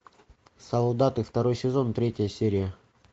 солдаты второй сезон третья серия